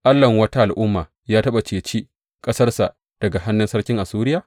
Allahn wata al’umma ya taɓa ceci ƙasarsa daga hannun sarkin Assuriya?